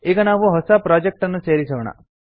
ಈಗ ನಾವು ಹೊಸ ಪ್ರೊಜೆಕ್ಟ್ ಅನ್ನು ಸೇರಿಸೋಣ